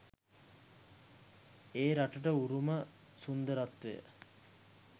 ඒ රටට උරුම සුන්දරත්වය